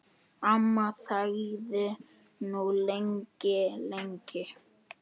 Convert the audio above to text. Amma þagði nú lengi, lengi.